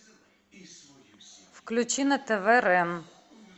включи на тв рен